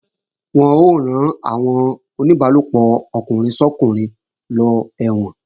Wọ́n ó rán àwọn oníbálòpọ̀ ọkùnrin sọ́kùnrin lọ ẹ̀wọ̀n